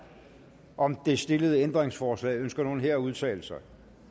om det stillede ændringsforslag ønsker nogen her at udtale sig